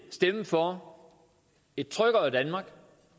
stemme for et tryggere danmark